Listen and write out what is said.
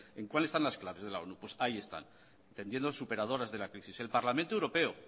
en cuál están las claves de la onu pues ahí están tendiendo superadores de la crisis el parlamento europeo